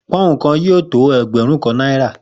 Pó̩ùn kan yóò tó e̩gbè̩rún kan náírà